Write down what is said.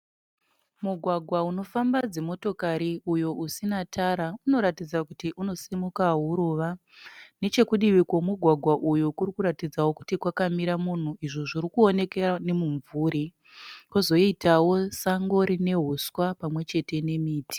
Mugwagwa unofamba dzimotikari uyo usina tara. Unoratidaz kuti unosimuka huruva. Nechekudivi kwemugwagwa uyu kuri kuratidza kuti kwakamira munhu izvo zviri kuonekera nemumvuri kwozoitawo sango rine huswa pamwechete nemiti